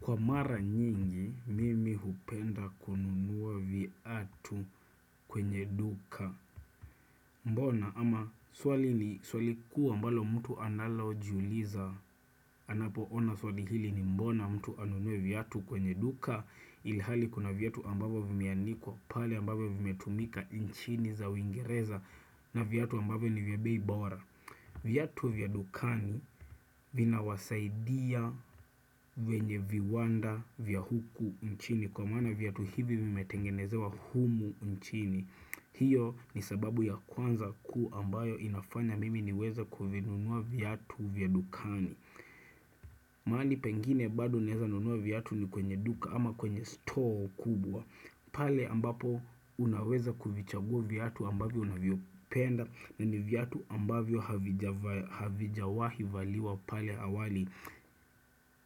Kwa mara nyingi mimi hupenda ku nunua viatu kwenye duka Mbona ama swali ni swali kuwa mbalo mtu analo jiuliza anapo ona swali hili ni mbona mtu anunuwe viatu kwenye duka Ilihali kuna viatu ambapo vimianikuwa pali ambapo vimetumika inchini za wingereza na viatu ambapo ni vya bei bora viatu vya dukani vinawasaidia wenye viwanda vya huku nchini kwa mana viatu hivi vimetengenezewa humu nchini hiyo ni sababu ya kwanza ku ambayo inafanya mimi niweza kuvinunua viatu vya dukani maali pengine bado naweza nunua viatu ni kwenye duka ama kwenye stoo kubwa pale ambapo unaweza kuvichagua viatu ambavyo unavyopenda na ni vyatu ambavyo havijawahi valiwa pale awali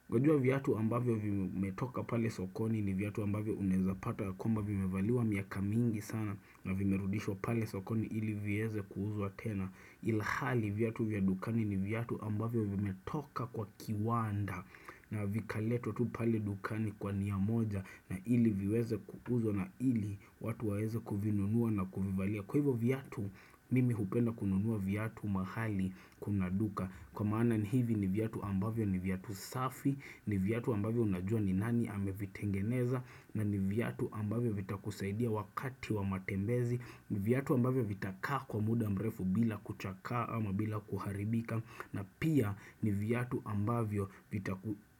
Unajua viatu ambavyo vimetoka pale sokoni ni viatu ambavyo unaezapata kwamba vimevaliwa miaka mingi sana na vimerudishwa pale sokoni ili viweze kuuuzwa tena Ilhali viatu vyadukani ni viatu ambavyo vimetoka kwa kiwanda na vikaletwa tu pale dukani kwa niya moja na ili viweze kuuzwa na ili watu waweze kuvinunuwa na kuvivalia Kwa hivyo viatu mimi hupenda kununuwa viatu mahali kunaduka Kwa maana ni hivi ni viatu ambavyo ni viatu safi ni viatu ambavyo unajua ni nani amevitengeneza na ni viatu ambavyo vitakusaidia wakati wa matembezi viatu ambavyo vitaka kwa muda mrefu bila kuchaka ama bila kuharibika na pia ni viatu ambavyo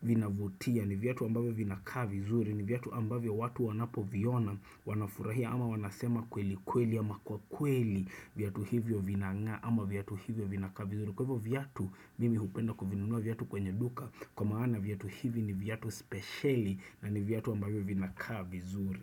vina vutia ni viatu ambavyo vinaka vizuri ni viatu ambavyo watu wanapo viona wanafurahia ama wanasema kweli kweli ama kwa kweli viatu hivyo vinanga ama viatu hivyo vinaka vizuri kwa hivyo viatu mimi hupenda kuvinunua viatu kwenye duka kwa maana viatu hivi ni viatu speciali na ni viatu ambavyo vinaka vizuri.